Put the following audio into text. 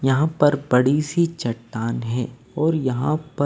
यहां पर बड़ी सी चट्टान है और यहां पर--